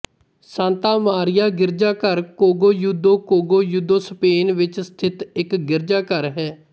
Santa Maria ਗਿਰਜਾਘਰ Cogolludo Cogolludo Spain ਵਿੱਚ ਸਥਿਤ ਇੱਕ ਗਿਰਜਾਘਰ ਹੈ